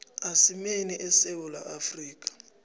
isimeni esewula afrika